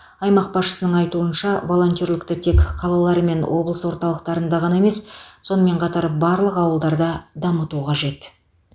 аймақ басшысының айтуынша волонтерлікті тек қалалар мен облыс орталықтарында ғана емес сонымен қатар барлық ауылдарда дамыту қажет